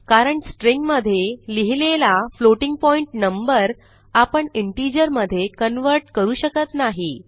कारण स्ट्रिंग मधे लिहिलेला फ्लोटिंग पॉइंट नंबर आपण इंटिजर मधे कन्व्हर्ट करू शकत नाही